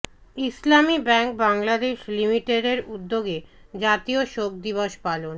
ইসলামী bank Bangladesh লিমিটেডের উদ্যোগে জাতীয় শোক দিবস পালন